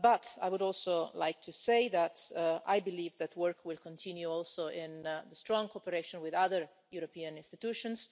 I would also like to say that I believe that work will continue also in strong cooperation with other European institutions.